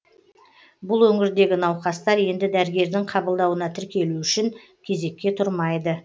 бұл өңірдегі науқастар енді дәрігердің қабылдауына тіркелу үшін кезекке тұрмайды